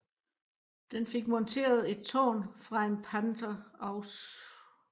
Den fik monteret et tårn fra en Panther Ausf